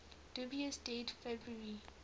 dubious date february